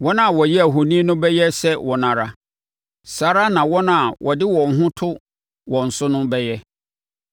Wɔn a wɔyɛɛ ahoni no bɛyɛ sɛ wɔn ara, saa ara na wɔn a wɔde wɔn ho to wɔn so no bɛyɛ.